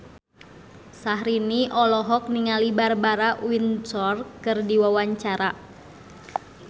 Syahrini olohok ningali Barbara Windsor keur diwawancara